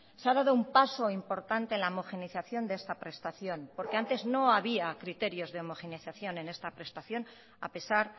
se ha dado un paso importante en la homogeneización de esta prestación porque antes no había criterios de homogeneización en esta prestación a pesar